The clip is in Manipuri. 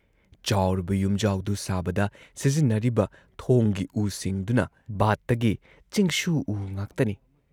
ꯆꯥꯎꯔꯕ ꯌꯨꯝꯖꯥꯎꯗꯨ ꯁꯥꯕꯗ ꯁꯤꯖꯤꯟꯅꯔꯤꯕ ꯊꯣꯡꯒꯤ ꯎꯁꯤꯡꯗꯨꯅ ꯕꯥꯠꯇꯒꯤ ꯆꯤꯡꯁꯨ ꯎ ꯉꯥꯛꯇꯅꯤ ꯫